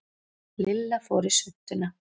Lilla fór í svuntuna.